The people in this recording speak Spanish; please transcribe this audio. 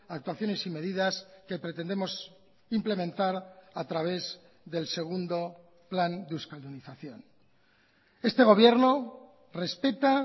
actuaciones y medidas que pretendemos implementar a través del segundo plan de euskaldunización este gobierno respeta